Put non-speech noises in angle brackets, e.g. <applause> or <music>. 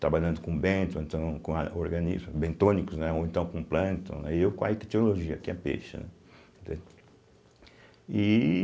trabalhando com bento ou então com a <unintelligible> bentônicos, né, ou então com plâncton, né e eu com a ictologia, que é peixe, né de e.